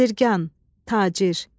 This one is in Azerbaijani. Bəzirgan, tacir.